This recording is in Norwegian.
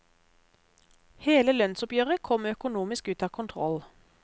Hele lønnsoppgjøret kom økonomisk ut av kontroll.